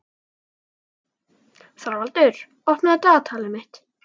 Þorvaldur, opnaðu dagatalið mitt.